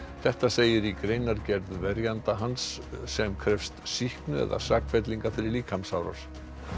þetta segir í greinargerð verjanda hans sem krefst sýknu eða sakfellingar fyrir líkamsárás